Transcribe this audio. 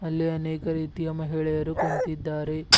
ಅಲ್ಲಿ ಅನೇಕ ರೀತಿಯ ಮಹಿಳೆಯರು ಕುಂತಿದ್ದಾರೆ.